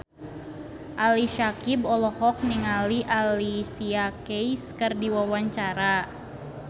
Ali Syakieb olohok ningali Alicia Keys keur diwawancara